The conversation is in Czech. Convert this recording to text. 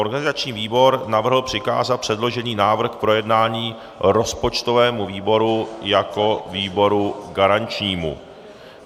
Organizační výbor navrhl přikázat předložený návrh k projednání rozpočtovému výboru jako výboru garančnímu.